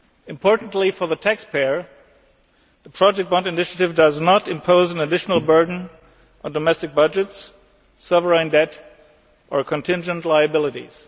Importantly for the taxpayer, the project bond initiative does not impose an additional burden on domestic budgets, sovereign debt or contingent liabilities.